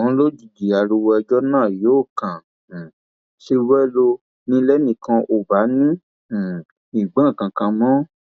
ṣùgbọn lójijì ariwo ẹjọ náà yóò kàn um ṣe wẹlo ni lẹnìkan ò bá ní um í gbọ nǹkan kan mọ